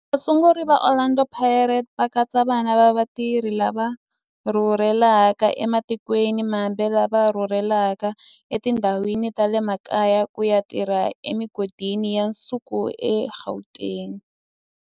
Vasunguri va Orlando Pirates va katsa vana va vatirhi lava rhurhelaka ematikweni mambe lava rhurheleke etindhawini ta le makaya ku ya tirha emigodini ya nsuku eGauteng.